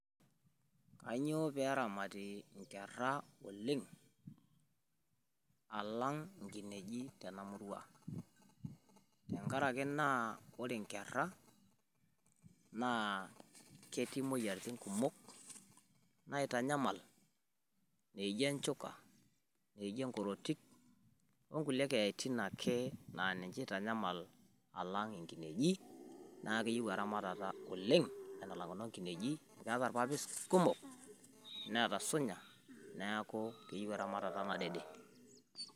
Kainyio pee eramati nkerra oleng alang nkinejik tena murua. Tenkaraki naa ore nkera ketii moyiaritin kumok naitanyamal, naijo enchuka , naijo enkorotik o nkulie keyaitin ake naa ninche eitanyamal alang nkinejik. Naa keyieu eramatata oleng kuna kinejik keeta ilpapit kumok neeta sunya niaku keyieu eramatata nadede.